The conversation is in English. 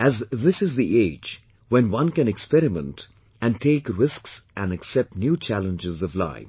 as this is the age when one can experiment and take risks and accept new challenges of life